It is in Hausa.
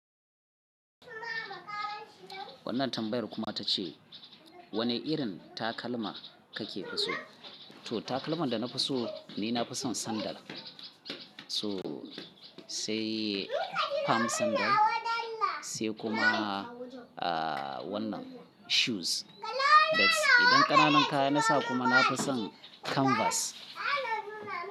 Wannan tambayar kuma ta ce wane irin takalma kake so? To takalman da na fi so ni nafi son sandal. So sai palm sandal sai kuma, ah wannan shoes. That's idan ƙananan kaya na sa kuma nafi son canvas.